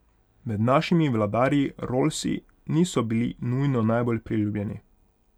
Med našimi vladarji rollsi niso bili nujno najbolj priljubljeni.